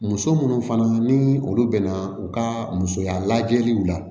Muso minnu fana ni olu bɛna u ka musoya lajɛliw la